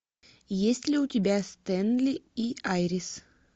есть ли у тебя стэнли и айрис